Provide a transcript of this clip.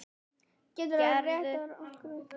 Geturðu reddað okkur vinnu?